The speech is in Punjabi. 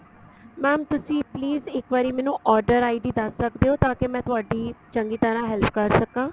mam ਤੁਸੀਂ please ਇੱਕ ਵਾਰੀ ਮੈਨੂੰ order ID ਦੱਸ ਸਕਦੇ ਓ ਤਾਂ ਕੀ ਮੈਂ ਤੁਹਾਡੀ ਚੰਗੀ ਤਰ੍ਹਾਂ help ਕਰ ਸਕਾ